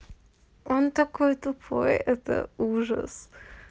он такой тупой это ужас